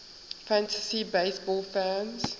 fantasy baseball fans